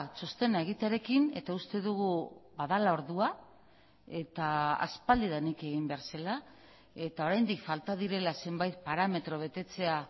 txostena egitearekin eta uste dugu badela ordua eta aspaldidanik egin behar zela eta oraindik falta direla zenbait parametro betetzea